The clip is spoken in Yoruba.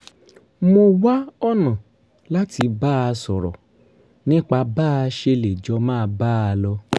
mo wá ọ̀nà láti bá a sọ̀rọ̀ nípa bá a ṣe lè jọ máa bá a lọ